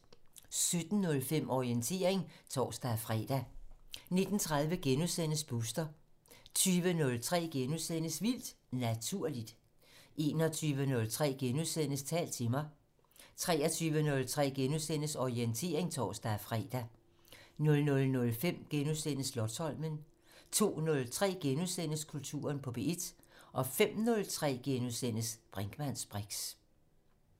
17:05: Orientering (tor-fre) 19:30: Booster * 20:03: Vildt Naturligt * 21:03: Tal til mig * 23:03: Orientering *(tor-fre) 00:05: Slotsholmen * 02:03: Kulturen på P1 * 05:03: Brinkmanns briks *